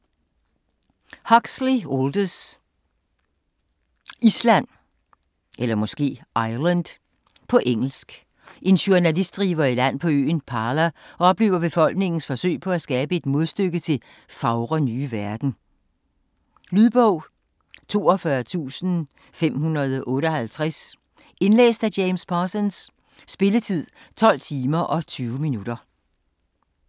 Huxley, Aldous: Island På engelsk. En journalist driver i land på øen Pala og oplever befolkningens forsøg på at skabe et modstykke til "Fagre nye verden". Lydbog 42558 Indlæst af James Parsons Spilletid: 12 timer, 20 minutter.